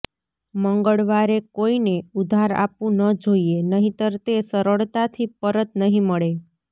મંગળવારે કોઇને ઉધાર આપવું ન જોઇએ નહીંતર તે સરળતાથી પરત નહીં મળે